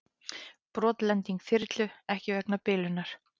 Brotlending þyrlu ekki vegna bilunar